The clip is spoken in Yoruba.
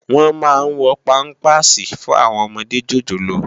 Wòn má n wò pàmpásí fún áwòn òmòdé jójólóò